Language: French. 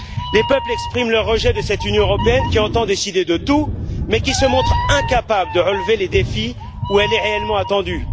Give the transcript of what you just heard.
Les peuples expriment leur rejet de cette Union européenne qui entend décider de tout mais qui se montre incapable de relever les défis là où elle est réellement attendue.